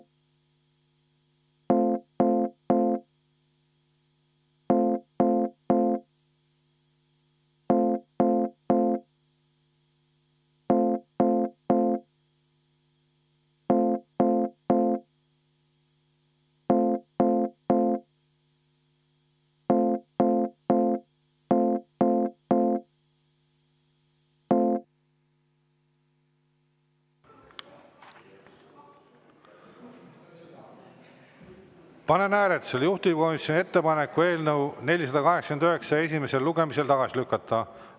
Panen hääletusele juhtivkomisjoni ettepaneku eelnõu 489 esimesel lugemisel tagasi lükata.